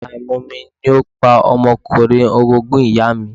Àìmomi ni ó pa ọmọkùnrin orogún ìyàa mi.